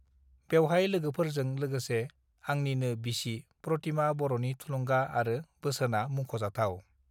बेवहाय लोगोफोरजों लोगोसे आंनिनो बिसि प्रतिमा बरनि थुलुंगा आरो बोसोना मुंखजाथाव